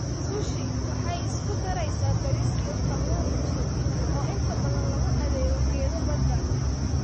Sushi waxay isku daraysaa bariis iyo kalluun cusub, oo inta badan lagu adeego geedo badda.